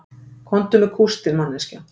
Komdu með kústinn manneskja